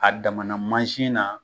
A damana mansin na.